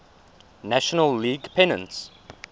national league pennants